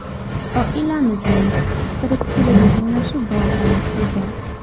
Oilamizning tirikchiligi mana shu bog‘dan edi.